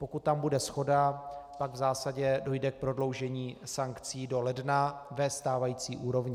Pokud tam bude shoda, pak v zásadě dojde k prodloužení sankcí do ledna ve stávající úrovni.